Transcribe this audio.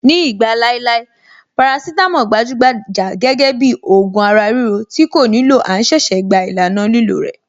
Ní ìgbà láéláé, parasítámọ̀ gbajúgbajà gẹ́gẹ́ bíi ògùn ara-ríro tí kò nílò à ń ṣẹ̀ṣẹ̀ gba ìlànà lílò rẹ̀.